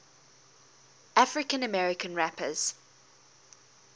african american rappers